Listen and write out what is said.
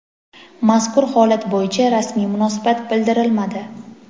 mazkur holat bo‘yicha rasmiy munosabat bildirilmadi.